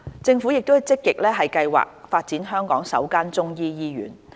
政府正積極計劃發展香港首間中醫醫院。